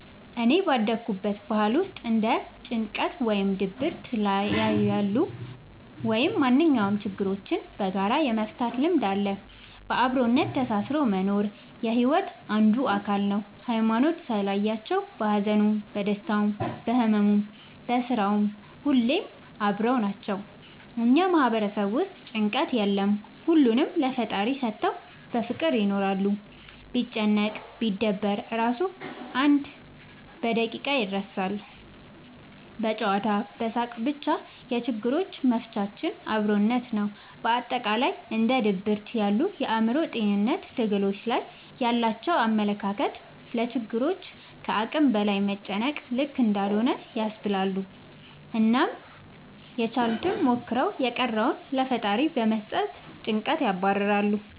እኔ ባደኩበት ባህል ውስጥ እንደ ጭንቀት ወይም ድብርት ያሉ ላይ ወይም ማንኛውም ችግሮችን በጋራ የመፍታት ልምድ አለ። በአብሮነት ተሳስሮ መኖር የሒወት አንዱ አካል ነው። ሀይማኖት ሳይለያቸው በሀዘኑም በደስታውም በህመሙም በስራውም ሁሌም አብረው ናቸው። እኛ ማህበረሰብ ውስጥ ጭንቀት የለም ሁሉንም ለፈጣሪ ሰተው በፍቅር ይኖራሉ። ቢጨነቅ ቢደበር እራሱ አንድ በደቂቃ ይረሳል በጨዋታ በሳቅ በቻ የችግሮች መፍቻችን አብሮነት ነው። በአጠቃላይ እንደ ድብርት ያሉ የአእምሮ ጤንነት ትግሎች ላይ ያላቸው አመለካከት ለችግሮች ከአቅም በላይ መጨነቅ ልክ እንዳልሆነ ያስባሉ አናም ያችሉትን ሞክረው የቀረውን ለፈጣሪ በመስጠት ጨንቀትን ያባርራሉ።